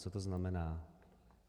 Co to znamená?